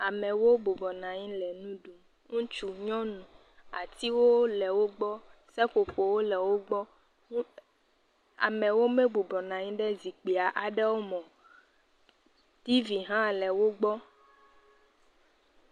Amewo bɔbɔ nɔ anyi le nu ɖum. Atiwo le wògbɔ. Seƒoƒowo le wògbɔ. Amewo me bubɔ nɔ anyi ɖe zikpui aɖewo me o. TV hã le wògbɔ.